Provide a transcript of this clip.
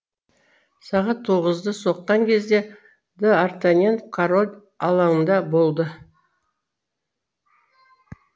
сағат тоғызды соққан кезде д артаньян король алаңында болды